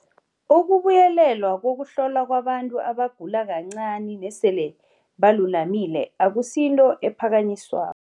Ukubuyelelwa kokuhlolwa kwabantu abagula kancani nesele balulamile akusinto ephakanyiswa